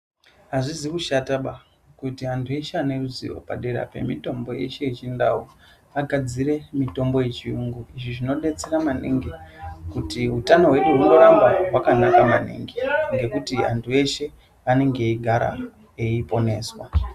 Azvisi kushataba kuti andu veshe vane ruzivo padera pemutombo yedu yechindau vagadzire mutombo yechiyungu izvi zvinodetsera maningi kuti hutano wedu hwunoramba hwakanaka maningi nekuti vandu veshe vanenge eigara achiponeswa.